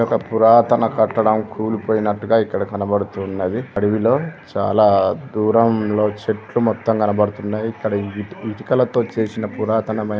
ఒక పురాతన కట్టడం కూలిపోయినట్టుగా ఇక్కడ కనబడుతు ఉన్నది అడవిలో చాలా దూరంలో చెట్లు మొత్తం కబడుతున్నాయి ఇక్కడ ఇటు ఇటుకలతో చేసిన పురాతనమైన --